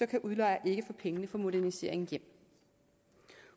kan udlejer ikke få pengene for moderniseringen hjem